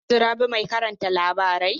Har yanzun Rabi mai karanta labarai?